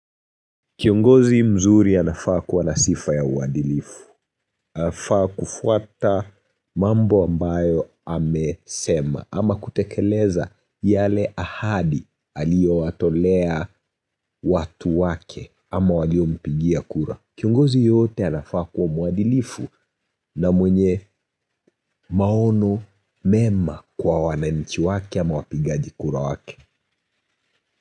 Kiongozi mzuri anafaa kuwa nasifa ya uadilifu, anafaa kufuata mambo ambayo amesema ama kutekeleza yale ahadi aliyo watolea watu wake ama waliom pigia kura. Kiongozi yoyote anafaa kuwa mwadilifu na mwenye maono mema kwa wananchi wake ama wapigaji kura wake.